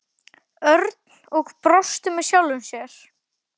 Örn og brosti með sjálfum sér.